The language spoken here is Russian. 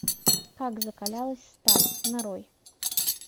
как закалялась сталь нарой